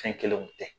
Fɛn kelenw tɛ